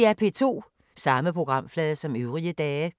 Samme programflade som øvrige dage